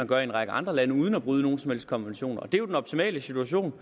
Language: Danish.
gør i en række andre lande uden at bryde nogen som helst konvention den optimale situation